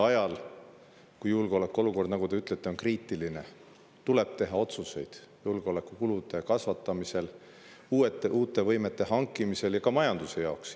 Ajal, kui julgeolekuolukord, nagu te ütlete, on kriitiline, tuleb teha otsuseid julgeolekukulude kasvatamiseks, uute võimete hankimiseks, ja ka majanduse jaoks.